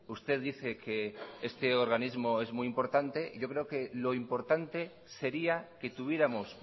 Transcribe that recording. usted dice que este organismo es muy importante yo creo que lo importante sería que tuviéramos